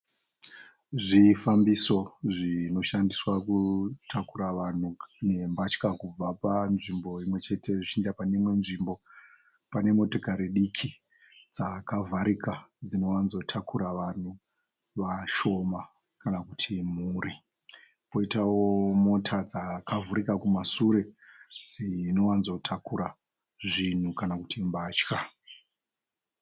Zvifambiso zvinoshandiswa kutakura vanhu nembatya kubva panzvimbo imwe chete zvichienda pane imwe nzvimbo. Pane motokari diki dzakavharika dzinowanzotakura vanhu vashoma kana kuti mhuri. Poitawo mota dzakavhurika kumashure dzinowanzotakura zvinhu kana kuti mbatya.